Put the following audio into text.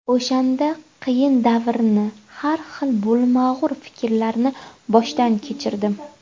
O‘shanda qiyin davrni, har xil bo‘lmag‘ur fikrlarni boshdan kechirdim.